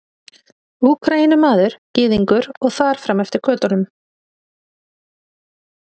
Úkraínumaður, Gyðingur og þar fram eftir götum.